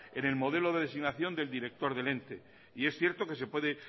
en el modelo de designación del director del ente y es cierto que se puede